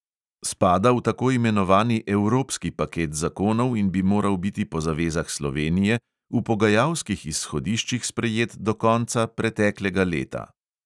Spada v tako imenovani evropski paket zakonov in bi moral biti po zavezah slovenije v pogajalskih izhodiščih sprejet do konca preteklega leta.